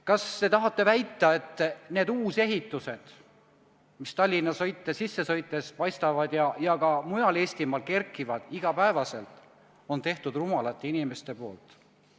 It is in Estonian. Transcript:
Kas te tahate väita, et need uusehitised, mis Tallinna sisse sõites paistavad ja mida ka mujal Eestimaal iga päev juurde kerkib, on teinud rumalad inimesed?